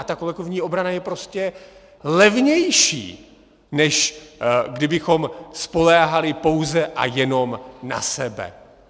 A ta kolektivní obrana je prostě levnější, než kdybychom spoléhali pouze a jenom na sebe.